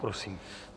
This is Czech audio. Prosím.